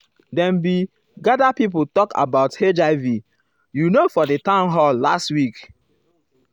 dem bin ah gather pipo talk about um hiv you know for di town hall last week.